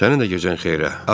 Sənin də gecən xeyrə.